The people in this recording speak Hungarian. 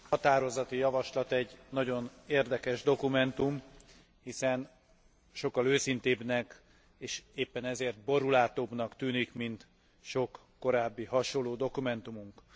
határozati javaslat egy nagyon érdekes dokumentum, hiszen sokkal őszintébbnek és éppen ezért borúlátóbbnak tűnik, mint sok korábbi hasonló dokumentumunk.